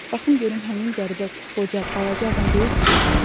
Baxım görüm həmin qəribə qoca balaca adam deyil ki gələn?